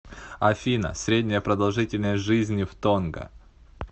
афина средняя продолжительность жизни в тонга